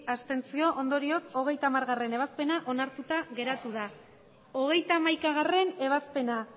ondorioz hogeita hamargarrena ebazpena onartuta geratu da hogeita hamaikagarrena ebazpena